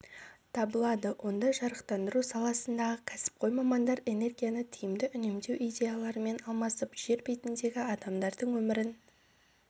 табылады онда жарықтандыру саласындағы кәсіпқой мамандар энергияны тиімді үнемдеу идеяларымен алмасып жер бетіндегі адамдардың өмірін